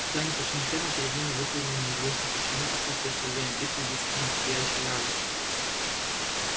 когда они пришли на ферму перед ними выпрыгнул неизвестно почему отсутствовавший во время битвы визгун сияющий и радостный